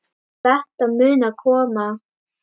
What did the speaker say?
Þetta mun koma.